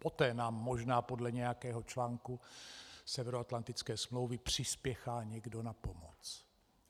Poté nám možná podle nějakého článku Severoatlantické smlouvy přispěchá někdo na pomoc.